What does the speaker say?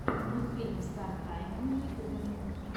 мультфильм стар тайма на ютьюбе